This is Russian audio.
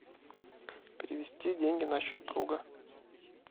перевести деньги на счет друга